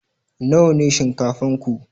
Nawa shinkafan ku?